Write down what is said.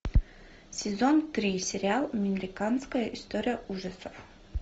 сезон три сериал американская история ужасов